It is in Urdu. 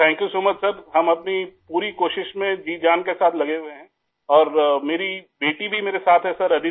sir, thank you so much sir, ہم اپنی پوری کوشش میں ، جی جان کے ساتھ لگے ہوئے ہیں اور میری بیٹی بھی آدیتی بھی میرے ساتھ ہے سر